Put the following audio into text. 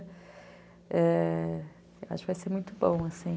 Eu acho que vai ser muito bom, assim.